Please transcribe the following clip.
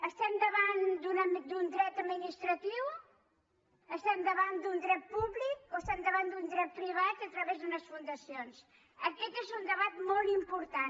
estem davant d’un dret administratiu estem davant d’un dret públic o estem davant d’un dret privat a través d’unes fundacions aquest és un debat molt important